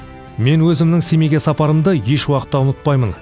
мен өзімнің семейге сапарымды еш уақытта ұмытпаймын